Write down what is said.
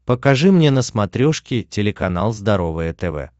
покажи мне на смотрешке телеканал здоровое тв